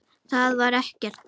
Það var ekkert.